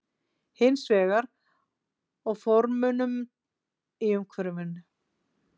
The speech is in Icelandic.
Hins vegar í formunum í umhverfinu.